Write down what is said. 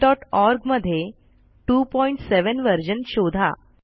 MiKTeX org मध्ये 27 वर्जन शोधा